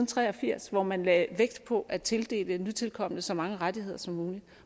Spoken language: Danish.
tre og firs hvor man lagde vægt på at tildele nytilkomne så mange rettigheder som muligt